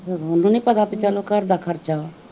ਉਹਨੂੰ ਨੀ ਪਤਾ ਵੀ ਚੱਲੋ ਘਰਦਾ ਖਰਚਾ ਵਾ